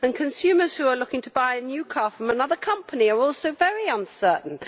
Consumers who are looking to buy a new car from another company are also very uncertain.